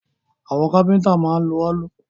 Àwọn kápẹ́ntà máa ń lo òòlù